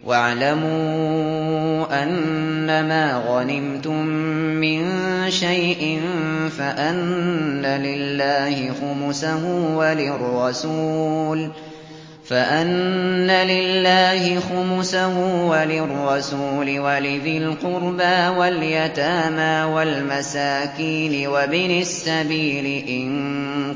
۞ وَاعْلَمُوا أَنَّمَا غَنِمْتُم مِّن شَيْءٍ فَأَنَّ لِلَّهِ خُمُسَهُ وَلِلرَّسُولِ وَلِذِي الْقُرْبَىٰ وَالْيَتَامَىٰ وَالْمَسَاكِينِ وَابْنِ السَّبِيلِ إِن